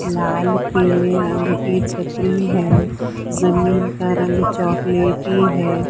लाल पीले रंग की छत्री है जमीन का रंग चॉकलेटी है।